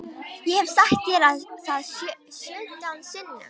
Ég hef sagt þér það sautján sinnum.